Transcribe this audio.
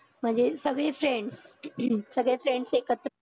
म्हणजे सगळे friends सगळे friends एकत्र